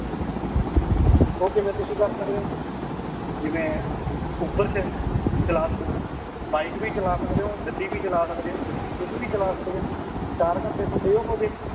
ਓ ਕਿਵੇਂ ਤੁਸੀ ਕਰ ਸਕਦੇ ਓ ਜਿਵੇਂ ਉਬਰ ਚ ਚਲਾ ਸਕਦੇ ਓ ਬਾਈਕ ਵੀ ਚਲਾ ਸਕਦੇ ਓ ਗੱਡੀ ਵੀ ਚਲਾ ਸਕਦੇ ਓ ਕੁਛ ਵੀ ਚਲਾ ਸਕਦਾ ਇਓ ਚਾਰ ਘੰਟੇ ਤੁਹਾਡੇ ਉਹ ਹੋਗੇ